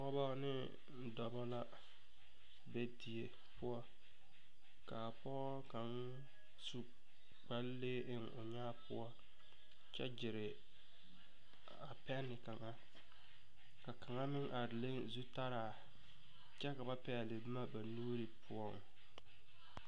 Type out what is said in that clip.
Pɔɔbɔ neŋ dɔbɔ la be die poɔ kaa pɔɔ kaŋ su kparelee eŋ o nyaa poɔ kyɛ gyire a pɛne kaŋa ka kaŋa meŋ a leŋ zutaraa kyɛ ka ba pɛɛle bomma ba nuure poɔ.